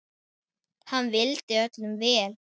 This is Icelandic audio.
Hann vildi öllum vel.